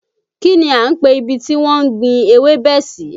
Kín ni à ń pe ibi tí wọ́n ń gbin ewébẹ̀ sì?